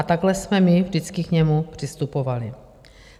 A takhle jsme my vždycky k němu přistupovali.